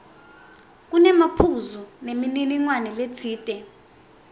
kunemaphuzu nemininingwane letsite